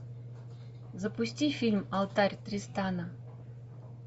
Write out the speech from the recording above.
запусти фильм алтарь тристана